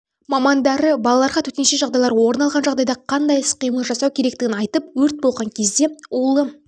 мамандары балаларға төтенше жағдайлар орын алған жағдайда қандай іс-қимыл жасау керектігін айтып өрт болған кезде улы